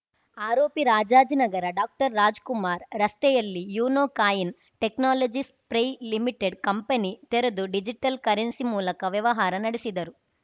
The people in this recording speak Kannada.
ಆರೋಪಿ ರಾಜಾಜಿನಗರ ಡಾಕ್ಟರ್ರಾಜ್‌ ಕುಮಾರ್‌ ರಸ್ತೆಯಲ್ಲಿ ಯೂನೊ ಕಾಯಿನ್‌ ಟೆಕ್ನಾಲಜಿಸ್‌ ಪ್ರೈಲಿ ಕಂಪನಿ ತೆರೆದು ಡಿಜಿಟಲ್‌ ಕರೆನ್ಸಿ ಮೂಲಕ ವ್ಯವಹಾರ ನಡೆಸಿದರು